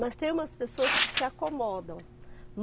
Mas tem umas pessoas que se acomodam.